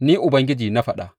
Ni Ubangiji na faɗa.